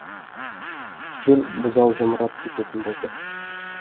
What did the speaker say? жүр бұзау жамырап кететін болды